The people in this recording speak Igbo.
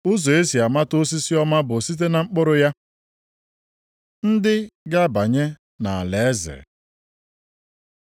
Ụzọ e si amata osisi ọma bụ site na mkpụrụ ya. Ndị ga-abanye nʼalaeze